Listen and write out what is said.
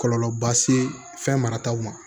Kɔlɔlɔba se fɛn marataw ma